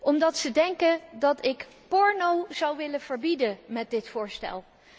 Omdat ze denken dat ik porno zou willen verbieden met dit voorstel.